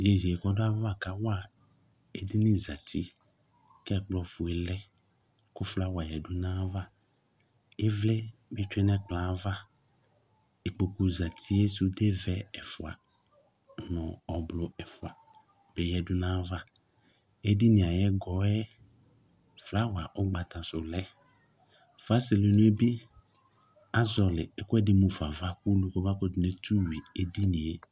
Ege yɛ kʋ ɔdʋ ayava kawa edini zati kʋ ɛkplɔfue lɛ kʋ flawa yǝdu nʋ ayava Ɩvlɩ bɩ tsue nʋ ɛkplɔ yɛ ava, ikpoku zati, sudevɛ ɛfʋa nʋ ɔblʋ ɛfʋa bɩ yǝdu nʋ ayava Edini ayʋ ɛgɔ yɛ flawa ʋgbata sʋ lɛ Fasɛlɛnu yɛ bɩ, azɔɣɔlɩ ɛkʋɛdɩ mu fa ava kʋ ulu kɔmakʋtʋ netu yui edini yɛ